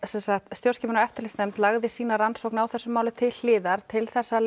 stjórnskipunar og eftirlitsnefnd lagði fram sína rannsókn á þessu máli til hliðar til þess að